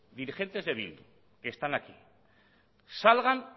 dirigentes de bildu que están aquí salgan